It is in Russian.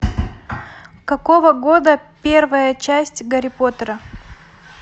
какого года первая часть гарри поттера